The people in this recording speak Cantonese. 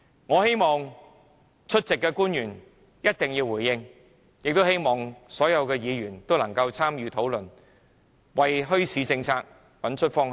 我要求出席的官員一定要回應，也希望所有議員能夠參與討論，為墟市政策找出方向。